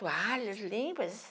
Toalhas limpas.